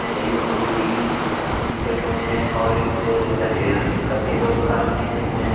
ऐ एक नीली टी-शर्ट में है और एक हरियर सफेद और काली टी-शर्ट में है।